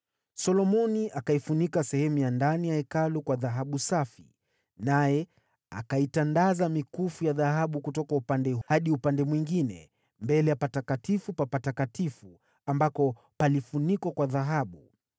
Solomoni akaifunika sehemu ya ndani ya Hekalu kwa dhahabu safi, naye akaitandaza mikufu ya dhahabu kutoka upande moja hadi ule mwingine mbele ya Patakatifu pa Patakatifu, ambako palifunikwa kwa dhahabu.